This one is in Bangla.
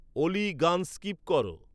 অলি গান স্কিপ কর